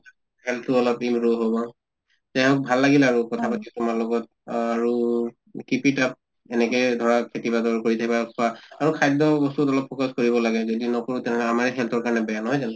health তো অলপ হʼব। যাই হওঁক ভাল লাগিলে আৰু কথা পাতি তোমাৰ লগত আৰু keep it up, এনেকে ধৰা খেতি কৰি থাকিবা খোৱা আৰু খাদ্য় বস্তুত অলপ focus কৰিবা লাগে, যদি নকৰোঁ তেনেহʼলে আমাৰে health ৰ কাৰণে বেয়া নহয় জানো?